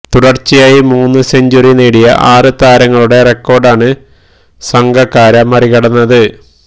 തുടര്ച്ചയായി മൂന്ന് സെഞ്ച്വറി നേടിയ ആറു താരങ്ങളുടെ റെക്കോര്ഡാണ് സംഗക്കാര മറികടന്നത്